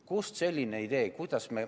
Kust selline idee?